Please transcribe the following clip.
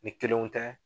Ni kelenw tɛ